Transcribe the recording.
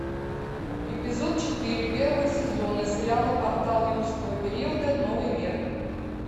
эпизод четыре первого сезона сериала портал юрского периода новый мир